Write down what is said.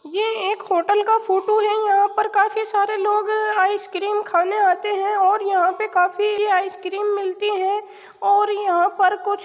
ये एक होटल का फोटो है और यहाँ पर काफी सारे लोग आइसक्रीम खाने आते हैं और यहां पर काफी आइसक्रीम मिलती है और यहां पर कुछ --